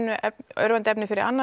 örvandi efni fyrir annað